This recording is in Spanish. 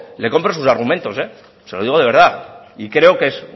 le compro sus argumentos se lo digo de verdad y creo que es